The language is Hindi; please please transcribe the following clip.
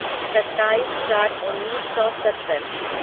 सत्ताईस चार उन्नीस सौ सत्तर